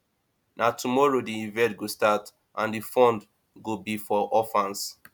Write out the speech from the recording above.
na tomorrow the event go start and the fund go be for orphans